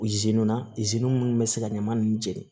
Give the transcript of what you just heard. na munnu bɛ se ka ɲaman nunnu jeni